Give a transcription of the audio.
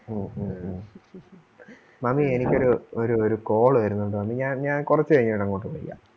ഹും ഹും ഹും മാമി എനിക്കൊരു ഒരു ഒരു call വരുന്നൊണ്ട് മാമി ഞാൻ ഞാൻ കൊറച്ച് കഴിഞ്ഞ് ഞാൻ അങ്ങോട്ട് വിളിക്കാം.